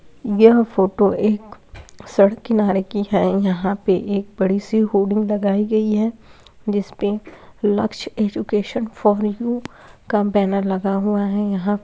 यह फोटो एक सड़क किनारे की है यहाँ पे एक बड़ी सी होरडिंग लगाई गयी है जिस पे लक्ष्य एडुकेशन फॉर यू का बैनर लगा हुआ है यहाँ।